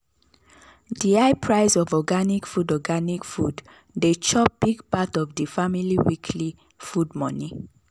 the high price of organic food organic food dey chop big part of the family weekly food money.